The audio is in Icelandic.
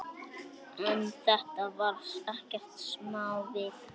En þetta var ekkert smávik.